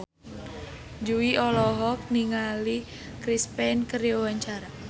Jui olohok ningali Chris Pane keur diwawancara